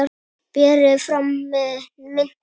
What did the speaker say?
Berið fram með mintu.